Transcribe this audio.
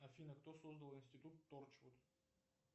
афина кто создал институт торчвуд